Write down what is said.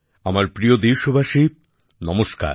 আমার প্রিয় দেশবাসী নমস্কার